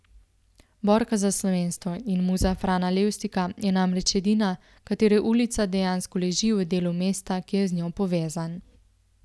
Borka za slovenstvo in muza Frana Levstika je namreč edina, katere ulica dejansko leži v delu mesta, ki je z njo povezan.